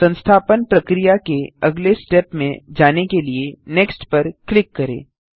संस्थापन प्रक्रिया के अगले स्टेप में जाने के लिए नेक्स्ट पर क्लिक करें